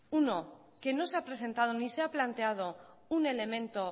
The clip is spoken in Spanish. uno que no se ha presentado ni se ha planteado un elemento